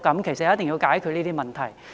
其實，一定要解決這些問題。